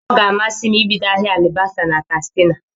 Ọ ga-amasi m ibido ahịa alibasa na Katsina.